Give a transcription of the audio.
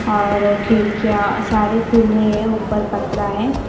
और खिड़कियां अ सारी खुली हैं उपर पत्रा है।